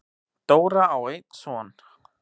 Dóra á einn son.